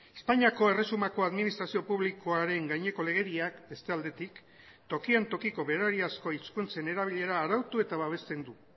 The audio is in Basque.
espainiako erresumako administrazio publikoaren gaineko legediak beste aldetik tokian tokiko berariazko hizkuntzen erabilera arautu eta babesten du